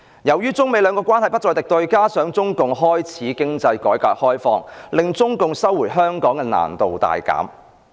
由於中美兩國關係不再敵對，加上中共開始經濟改革開放，令中共收回香港的難度大減。